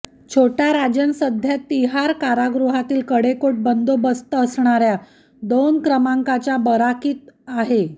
छोटा राजन सध्या तिहार कारागृहातील कडेकोट बंदोबस्त असणाऱ्या दोन क्रमांकाच्या बराकीत आहे